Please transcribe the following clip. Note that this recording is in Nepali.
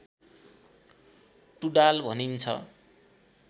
टुँडाल भनिन्छ